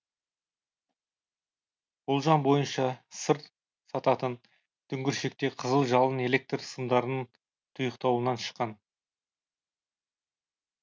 болжам бойынша сыр сататын дүңгіршекте қызыл жалын электр сымдарының тұйықталуынан шыққан